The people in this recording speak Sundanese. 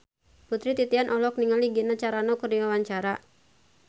Putri Titian olohok ningali Gina Carano keur diwawancara